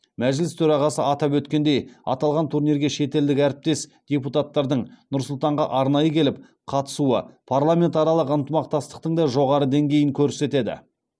мәжіліс төрағасы атап өткендей аталған турнирге шетелдік әріптес депутаттардың нұр сұлтанға арнайы келіп қатысуы парламентаралық ынтымақтастықтың да жоғары деңгейін көрсетеді